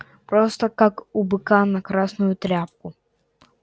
просто как у быка на красную тряпку